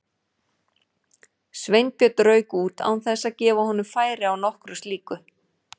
Sveinbjörn rauk út án þess að gefa honum færi á nokkru slíku.